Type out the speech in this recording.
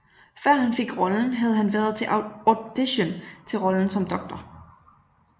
Før han fik rollen havde han været til audition til rollen som Dr